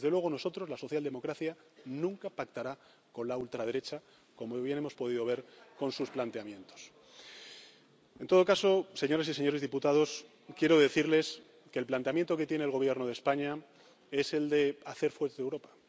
Desde luego, nosotros, la socialdemocracia, nunca pactará con la ultraderecha, como muy bien hemos podido ver con sus planteamientos. En todo caso, señoras y señores diputados, quiero decirles que el planteamiento que tiene el Gobierno de España es el de hacer fuerte Europa.